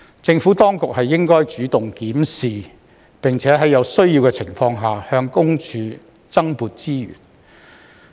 政府當局應主動檢視，並在有需要的情況下，向私隱公署增撥資源。